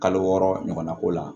Kalo wɔɔrɔ ɲɔgɔnna ko la